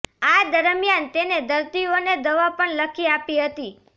આ દરમિયાન તેને દર્દીઓને દવા પણ લખી આપી હતી